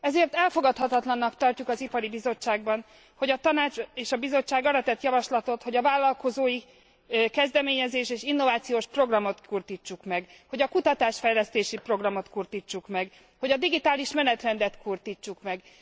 Ezért elfogadhatatlannak tartjuk az Ipari Bizottságban, hogy a Tanács és a Bizottság arra tett javaslatot, hogy a vállalkozói kezdeményezés és innovációs programot kurtítsuk meg, hogy a kutatás fejlesztési programot kurtítsuk meg, hogy a digitális menetrendet kurtítsuk meg.